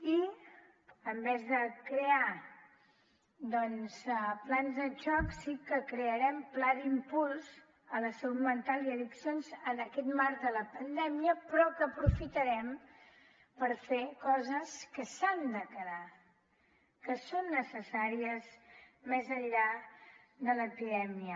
i en lloc de crear plans de xoc sí que crearem pla d’impuls a la salut mental i addiccions en aquest marc de la pandèmia però que aprofitarem per fer coses que s’han de quedar que són necessàries més enllà de l’epidèmia